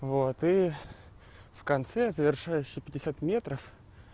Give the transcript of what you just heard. вот и в конце завершаешь пятьдесят метров